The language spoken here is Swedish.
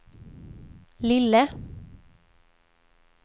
lille